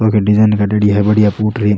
वा का डिजाइन करेड़ी है बढ़िया फूटरी।